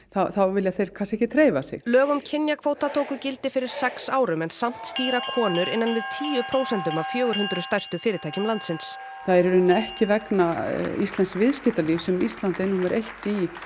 vilja þeir ekki hreyfa sig lög um kynjakvóta tóku gildi fyrir sex árum en samt stýra konur innan við tíu prósentum af fjögur hundruð stærstu fyrirtækjum landsins það er ekki vegna íslensks viðskiptalífs sem Ísland er númer eitt